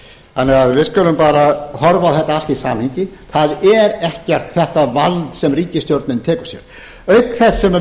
þannig að við skulum bara horfa á þetta allt í samhengi það er ekkert þetta vald sem ríkisstjórnin tekur sér auk þess sem